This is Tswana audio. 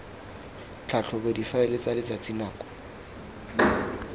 tlhatlhobe difaele tsa letsatsi nako